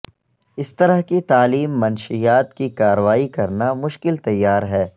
اس طرح کی تعلیم منشیات کی کارروائی کرنا مشکل تیار ہے